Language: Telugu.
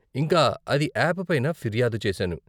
ఇంకా అది యాప్ పైన ఫిర్యాదు చేసాను.